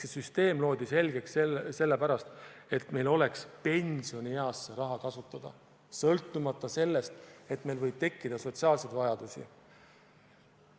See süsteem loodi selgelt sellepärast, et meil oleks pensionieas see raha kasutada, sõltumata sellest, et meil võib tekkida sotsiaalseid vajadusi.